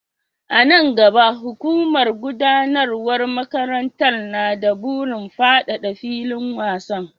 A nan gaba, hukumar gudanarwar makarantar na da burin fadada filin wasan.